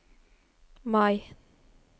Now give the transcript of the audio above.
Mai